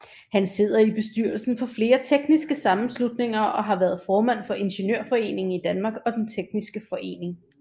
Han sidder i bestyrelsen for flere tekniske sammenslutninger og har været formand for Ingeniørforeningen i Danmark og Den tekniske Forening